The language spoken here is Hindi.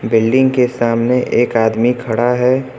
बिल्डिंग के सामने एक आदमी खड़ा है।